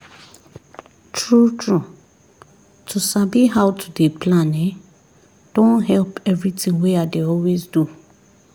true true to sabi how to dey plan ehnn don help everything wey i dey always do